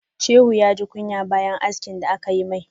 Shehu ya ji kunya bayan haski da aka yi mai.